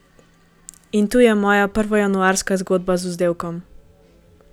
In tu je moja prvojanuarska zgodba z vzdevkom.